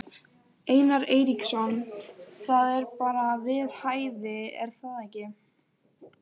Einar Eiríksson: Það er bara við hæfi er það ekki?